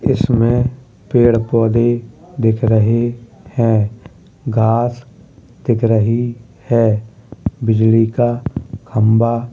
इस में पेड़-पौधे दिख रहे हैं घास दिख रही है। बिजली का खंबा --